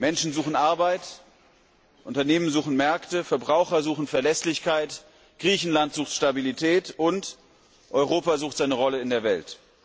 Menschen suchen Arbeit, Unternehmen suchen Märkte, Verbraucher suchen Verlässlichkeit, Griechenland sucht Stabilität, und Europa sucht seine Rolle in der Welt.